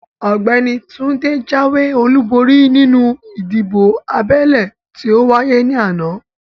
Ọ̀gbẹ́ni Túndé jáwé olúborí nínú ìdìbò abẹ́lé tí ówáyé ní àná